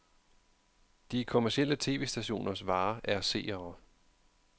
De kommercielle tv-stationers vare er seere.